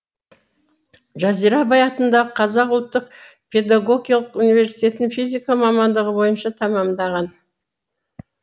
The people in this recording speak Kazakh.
жазира абай атындағы қазақ ұлттық педагогиялық университетін физика мамандығы бойынша тәмамдаған